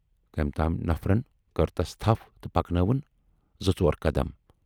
کٔمۍ تام نفرن کٔر تس تھپھ تہٕ پکنٲوٕن زٕ ژور قدم۔